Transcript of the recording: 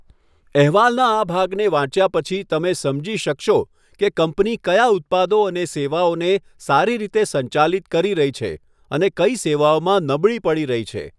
અહેવાલના આ ભાગને વાંચ્યા પછી, તમે સમજી શકશો કે કંપની કયા ઉત્પાદનો અને સેવાઓને સારી રીતે સંચાલિત કરી રહી છે અને કઈ સેવાઓમાં નબળી પડી રહી છે.